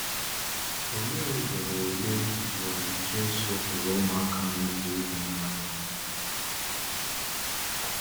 Òlee ugboro Òlee ugboro Jésù hụrụ ụmụaka na-egwu egwu n’ahịa?